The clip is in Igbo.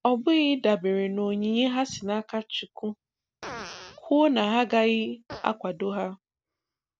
Ọbụghị ịdabere n'onyinye ha si n'aka Chukwu kwuo na agaghị akwado ha